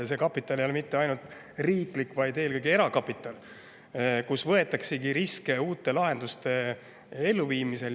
Ja see kapital ei ole mitte ainult riiklik, vaid eelkõige erakapital, mille eest võetakse riske uute lahenduste elluviimisel.